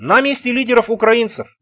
на месте лидеров украинцев